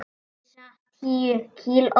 Missa tíu kíló.